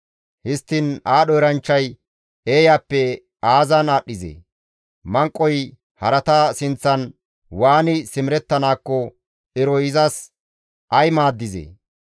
Histtiin aadho eranchchay eeyappe aazan aadhdhizee? Manqoy harata sinththan waani simerettanaakko eroy iza ay maaddizee?